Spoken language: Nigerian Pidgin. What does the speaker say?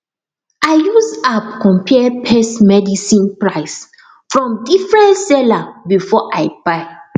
i use app compare pest medicine price from different seller before i buy